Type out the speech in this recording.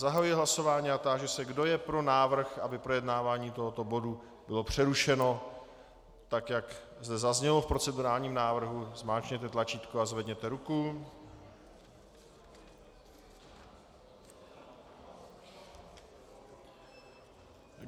Zahajuji hlasování a táži se, kdo je pro návrh, aby projednávání tohoto bodu bylo přerušeno, tak jak zde zaznělo v procedurálním návrhu, zmáčkněte tlačítko a zvedněte ruku.